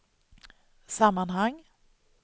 sammanhang